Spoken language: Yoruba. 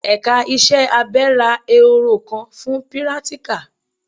Ẹ̀ka iṣẹ́ abẹ ra Ehoro kan fún pírátíkà.